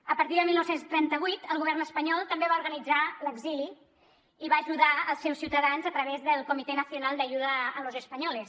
a partir de dinou trenta vuit el govern espanyol també va organitzar l’exili i va ajudar els seus ciutadans a través del comité nacional de ayuda a los españoles